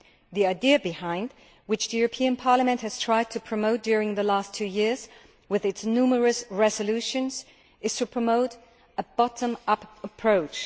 The idea behind this, which Parliament has tried to promote during the last two years with its numerous resolutions, is to promote a bottom up approach.